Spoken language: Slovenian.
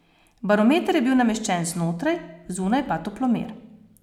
Barometer je bil nameščen znotraj, zunaj pa toplomer.